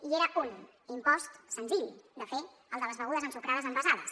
i era un impost senzill de fer el de les begudes ensucrades envasades